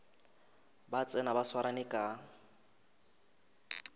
ba tsena ba swarane ka